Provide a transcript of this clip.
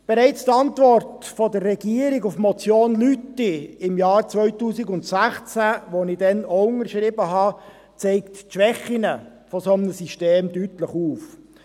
Bereits die Antwort der Regierung auf die Motion Lüthi im Jahr 2016 , die ich damals auch unterschrieben hatte, zeigte die Schwächen eines solchen Systems deutlich auf.